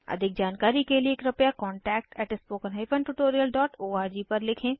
अधिक जानकारी के लिए contactspoken tutorialorg पर लिखें